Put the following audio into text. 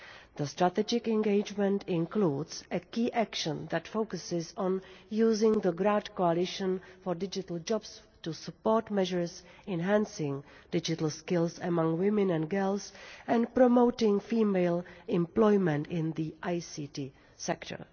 The Strategic Engagement includes a key action that focuses on using the Grand Coalition for Digital Jobs to support measures enhancing digital skills among women and girls and promoting female employment in the ICT sector.